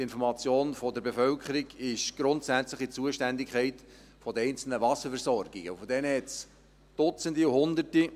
Die Information der Bevölkerung ist grundsätzlich in der Zuständigkeit der einzelnen Wasserversorgungen, und von diesen gibt es Dutzende und Hunderte.